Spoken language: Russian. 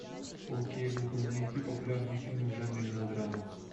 окей гугл найти популярные фильмы в жанре мелодрама